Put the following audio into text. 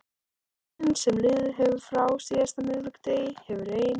Tíminn sem liðið hefur frá síðasta miðvikudegi hefur ein